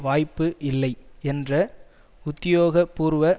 வாய்ப்பு இல்லை என்ற உத்தியோகபூர்வ